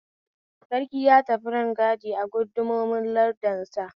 Sarki ya tafi rangadi a gundumomin lardinsa